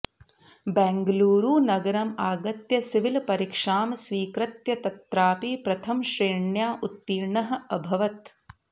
बेङ्गळुरुनगरम् आगत्य सिविल् परीक्षां स्वीकृत्य तत्रापि प्रथमश्रेण्या उत्तीर्णः अभवत्